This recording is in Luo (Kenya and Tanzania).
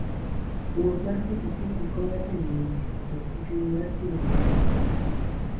Wuoth mar pikipiki konyo e miyo ji obed gi chuny mar timo dongruok e wach yuto.